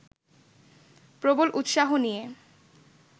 প্রবল উৎসাহ নিয়ে